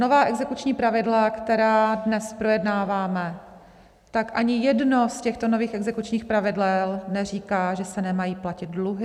Nová exekuční pravidla, která dnes projednáváme, tak ani jedno z těchto nových exekučních pravidel neříká, že se nemají platit dluhy.